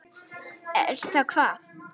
Er það hvað.?